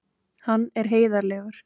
Hann er heiðarlegur.